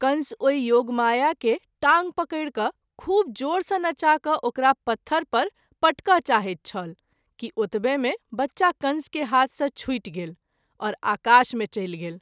कंस ओहि योगमाया के टाँग पकरि क’ खूब जोर सँ नचा क’ ओकरा पत्थर पर पटक’ चाहैत छल कि अतबे मे बच्चा कंस के हाथ सँ छुटि गेल आओर आकाश मे चलि गेल।